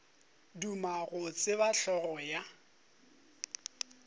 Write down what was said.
duma go tseba hlogo ya